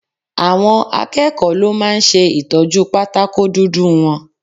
Àwọn akẹ́kọ̀ọ́ ló máa ń ṣe Ìtọ́jú pátákó dúdú wọn.